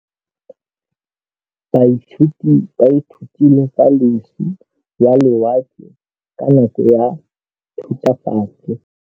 Baithuti ba ithutile ka losi lwa lewatle ka nako ya Thutafatshe.